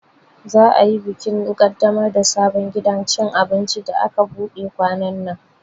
Za'a yi bikin kaddamar da sabon gidan cin abinci da aka buɗe kwanannan.